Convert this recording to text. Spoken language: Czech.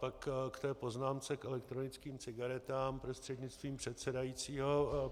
Pak k té poznámce k elektronickým cigaretám, prostřednictvím předsedajícího.